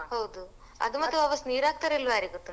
ಹೌದು ಅದು ಮತ್ತೆ ವಾಪಸ್ ನೀರ್ ಹಾಕ್ತಾರಾ ಇಲ್ವ ಯಾರಿಗ್ ಗೊತ್ತುಂಟು .